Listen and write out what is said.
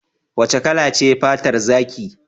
Wace kala ce fatar zaki?